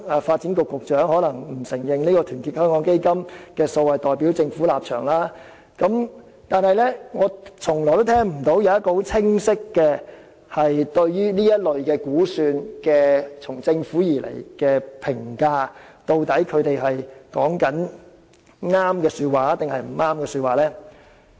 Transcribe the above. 發展局局長可能會否認團結香港基金提出的數字代表了政府的立場，但我從來沒有聽到政府對這類估算作出清晰的評價，指出所言究竟是對還是錯。